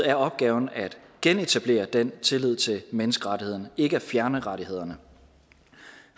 er opgaven at genetablere den tillid til menneskerettighederne ikke at fjerne rettighederne